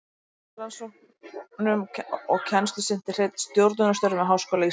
Jafnframt rannsóknum og kennslu sinnti Hreinn stjórnunarstörfum við Háskóla Íslands.